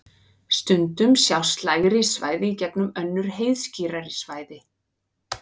stundum sjást lægri svæði í gegnum önnur heiðskírari svæði